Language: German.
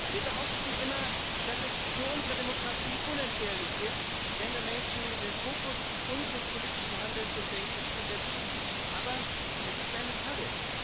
Wir behaupten immer, dass es für unsere Demokratie unentbehrlich ist, Gender Mainstreaming in den Fokus unseres politischen Handelns und Denkens zu setzen. Aber es ist eine Falle.